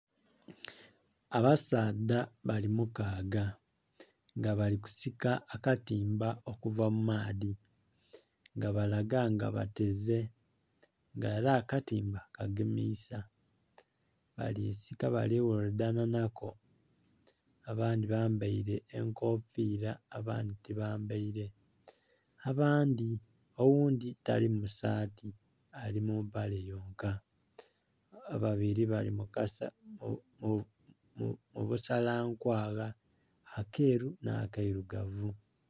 Abasaadha bali mukaaga nga bali kusika akatimba okuva mumaadhi nga balaga nga bateze nga era akatimba kagemisa bali sika bali ghaludhanha nhako aba ndhi bambeire enkofiira abandhi tibambeire abandhi oghundhi tali musaati ali mumpale yonka ababili abili mukala nkwagha akelu nha keilugavu